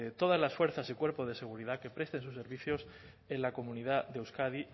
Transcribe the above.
todas las fuerzas y cuerpos de seguridad que prestan sus servicios en la comunidad de euskadi